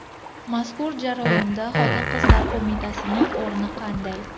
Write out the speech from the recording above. Mazkur jarayonda Xotin-qizlar qo‘mitasining o‘rni qanday?